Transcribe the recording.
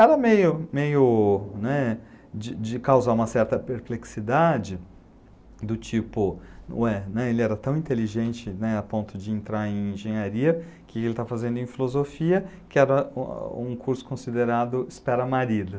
Era meio de causar uma certa perplexidade, do tipo, ele era tão inteligente a ponto de entrar em engenharia, que ele está fazendo em filosofia, que era um curso considerado espera-marido.